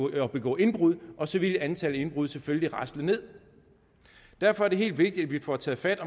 at begå indbrud og så ville antallet af indbrud selvfølgelig rasle nederst derfor er det meget vigtigt at vi får taget fat